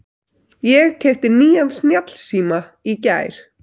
Ég keypti nýjan snjallsíma í gær.